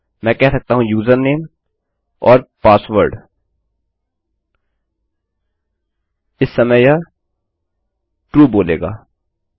मैं कह सकता हूँ यूजरनेम और पासवर्ड इस समय यह ट्रू बोलेगा